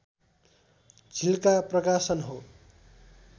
झिल्का प्रकाशन हो